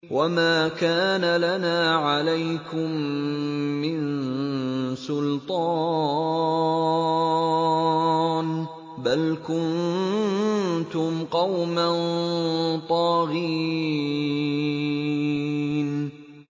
وَمَا كَانَ لَنَا عَلَيْكُم مِّن سُلْطَانٍ ۖ بَلْ كُنتُمْ قَوْمًا طَاغِينَ